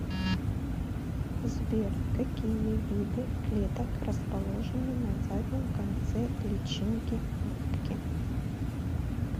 сбер какие виды клеток расположены на заднем конце личинки губки